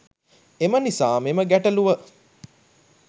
එම නිසා මෙම ගැටළුව